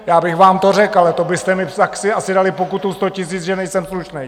Já bych vám to řekl, ale to byste mi asi dali pokutu sto tisíc, že nejsem slušný.